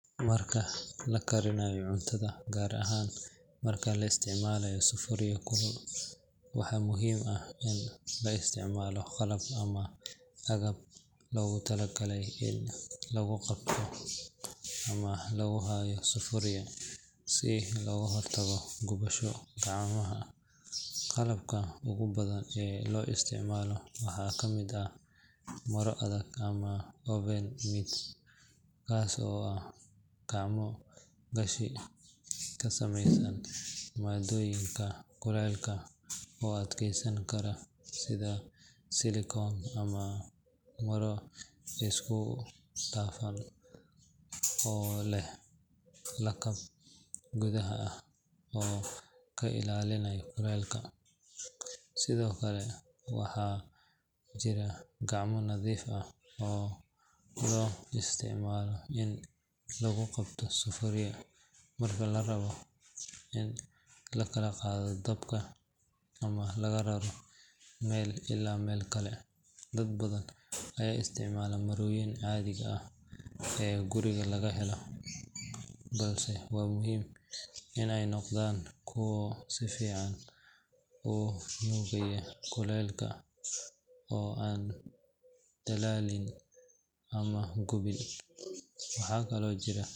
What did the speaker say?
Marka la karinayo cuntada gaar ahaan marka la isticmaalayo sufuria kulul, waxaa muhiim ah in la isticmaalo qalab ama agab loogu talagalay in lagu qabto ama lagu hayo sufuria si looga hortago gubasho gacmaha. Qalabka ugu badan ee loo isticmaalo waxaa ka mid ah maro adag ama oven mitts, kaas oo ah gacmo gashi ka samaysan maaddooyinka kulaylka u adkeysan kara sida silikoon ama maro isku dhafan oo leh lakab gudaha ah oo ka ilaalinaya kulaylka. Sidoo kale, waxaa jira gacmo qafiif ah oo loo isticmaalo in lagu qabto sufuria marka la rabo in laga qaado dabka ama laga raro meel ilaa meel kale. Dad badan ayaa isticmaala marooyinka caadiga ah ee guriga laga helo, balse waa muhiim in ay noqdaan kuwo si fiican u nuugaya kulaylka oo aan dhalaalin ama gubin. Waxaa kaloo jira.